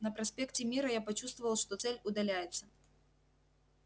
на проспекте мира я почувствовал что цель удаляется